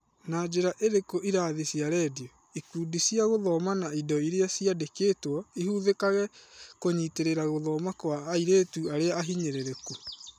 Na njĩra ĩrĩkũ irathi cia rendio, ikundi cia gũthoma na indo iria ciandĩkĩtwo ihũthĩkaga kũnyitĩrĩra gũthoma kwa airĩtu arĩa ahinyĩrĩrĩku?